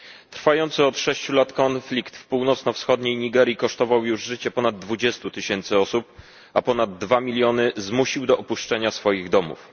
Trwający od 6 lat konflikt w północno wschodniej Nigerii kosztował już życie ponad 20 tysięcy osób, a ponad 2 miliony zmusił do opuszczenia swoich domów.